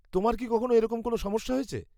তোমার কি কখনও এরকম কোনও সমস্যা হয়েছে?